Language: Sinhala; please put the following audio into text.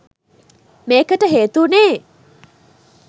මේකට හේතු වුණේ